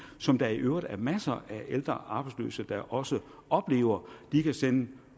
som der i øvrigt er masser af ældre arbejdsløse der også oplever de kan sende